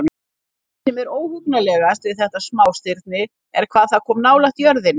Það sem er óhugnanlegast við þetta smástirni er hvað það kom nálægt jörðinni.